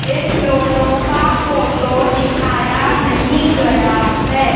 इन दोनों का फोटो दिखाया नहीं गया है।